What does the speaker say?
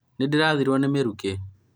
nĩndĩrathirĩrũo ni mĩrũkĩ